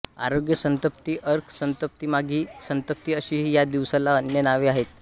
आरोग्य सप्तमी अर्क सप्तमीमाघी सप्तमी अशीही या दिवसाला अन्य नावे आहेत